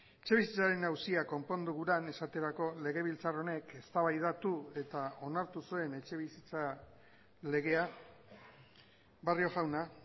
etxebizitzaren auzia konpondu guran esaterako legebiltzar honek eztabaidatu eta onartu zuen etxebizitza legea barrio jauna